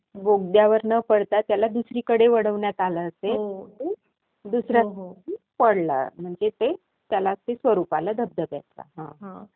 बोगद्यावर न पडता त्याला दुसरीकडे वळवण्यात आलं असेल. दुसरं...पडलं म्हणजे ते, त्याला ते स्वरूप आलं धबधब्याचं.